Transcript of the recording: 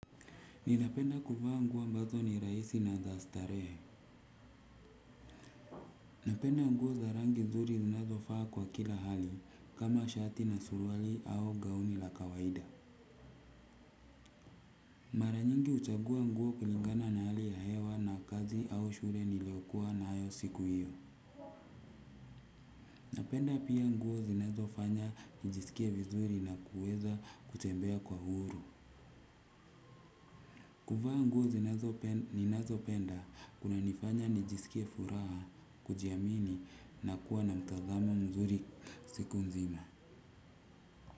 Ninapenda kuvaa nguo ambazo ni rahisi na za starehe. Napenda nguo za rangi nzuri ninazovaa kwa kila hali kama shati na suruali au gauni la kawaida. Mara nyingi huchagua nguo kulingana na hali ya hewa na kazi au shule niliokuwa nayo siku hiyo. Napenda pia nguo zinazofanya nijisikie vizuri na kuweza kutembea kwa huru. Kuvaa nguo zininazopenda kunanifanya nijisikie furaha kujiamini na kuwa na mtazamo mzuri siku nzima.